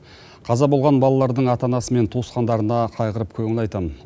қаза болған балалардың ата анасы мен туысқандарына қайғырып көңіл айтамын